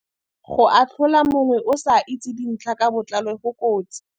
Go atlhola mongwe o sa itse dintlha ka botlalo go kotsi..